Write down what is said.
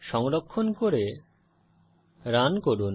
সংরক্ষণ করে রান করুন